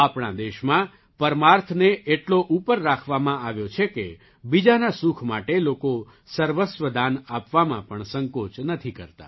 આપણા દેશમાં પરમાર્થને એટલો ઉપર રાખવામાં આવ્યો છે કે બીજાના સુખ માટે લોકો સર્વસ્વ દાન આપવામાં પણ સંકોચ નથી કરતા